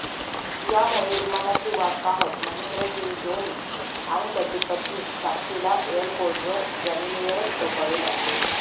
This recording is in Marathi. यामुळे विमानाची वाट पाहत महेंद्रसिंग धोनी आणि त्याची पत्नी साक्षीला एअरपोर्टवर जमिनीवरच झोपावे लागले